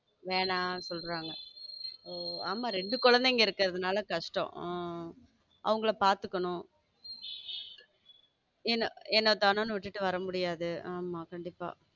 வேணாம்னு என்ன சொல்றாங்க ஆமா ரெண்டு குழந்தைகள் இருக்கறதுனால கஷ்டம் உம் அவங்கள பாத்துக்கணும் ஏனோ தானோன்னு விட்டுட்டு வர முடியாது மாமா கண்டிப்பா.